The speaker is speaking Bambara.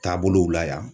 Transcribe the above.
Taabolow la yan